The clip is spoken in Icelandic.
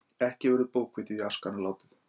Ekki verður bókvitið í askana látið.